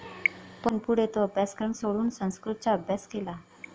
पण पुढे तो अभ्यासक्रम सोडून संस्कृतचा अभ्यास केला.